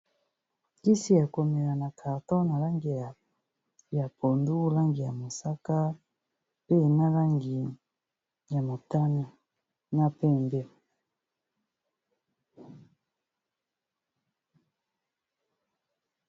kisi yakomela na carto na langi ya pondu langi ya mosaka pe nalangi ya motane na pembe.